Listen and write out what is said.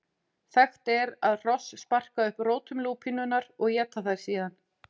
Þekkt er að hross sparka upp rótum lúpínunnar og éta þær síðan.